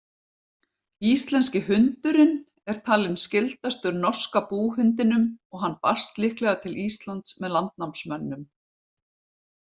Íslenski hundurinn er talinn skyldastur norska búhundinum og hann barst líklega til Íslands með landnámsmönnum.